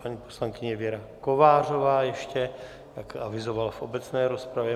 Paní poslankyně Věra Kovářová ještě, jak avizovala v obecné rozpravě.